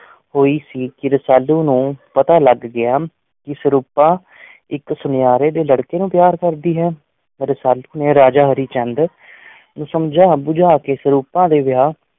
ਹੋਈ ਹੀ ਸੀ ਕਿ ਰਸਾਲੂ ਨੂੰ ਪਤਾ ਲੱਗ ਗਿਆ ਕਿ ਸਰੂਪਾਂ ਇੱਕ ਸੁਨਿਆਰੇ ਦੇ ਲੜਕੇ ਨੂੰ ਪਿਆਰ ਕਰਦੀ ਹੈ, ਰਸਾਲੂ ਨੇ ਰਾਜਾ ਹਰੀ ਚੰਦ ਨੂੰ ਸਮਝਾ-ਬੁਝਾ ਕੇ ਸਰੂਪਾਂ ਦਾ ਵਿਆਹ